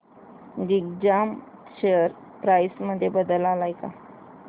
Digjam share price मध्ये बदल आलाय का